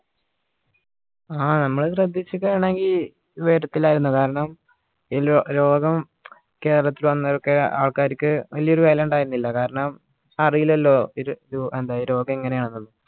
ആ നമ്മൾ ശ്രദ്ധിച്ചിട്ടാണെങ്കി വരത്തിലായിരുന്നു കാരണം ഇലോ രോഗം കേരളത്തിൽ വന്നതൊക്കെ ആൾക്കാരിക്ക് വലിയ ഒരു വിലയുണ്ടായിരുന്നില്ല കാരണം അറീലല്ലോ ഇത് ഏർ എന്താ രോഗം ഇങ്ങനെ ആണെന്നിള്ളത്